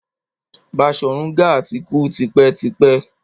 Baṣorun Gaa ti kú tipẹ́ tipẹ́.